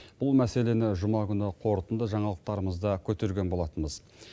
бұл мәселені жұма күні қорытынды жаңалықтарымызда көтерген болатынбыз